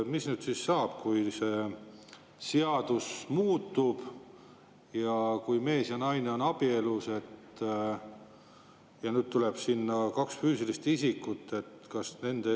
Mis nüüd siis saab, kui see seadus muutub, mees ja naine on abielus ja nüüd tuleb sinna "kaks füüsilist isikut"?